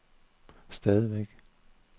stadigvæk